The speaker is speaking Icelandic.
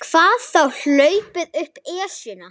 Hvað þá hlaupið upp Esjuna.